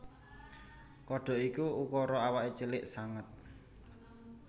Kodhok iki ukura awaké cilik banget